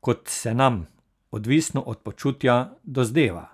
kot se nam, odvisno od počutja, dozdeva.